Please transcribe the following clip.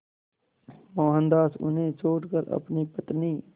मोहनदास उन्हें छोड़कर अपनी पत्नी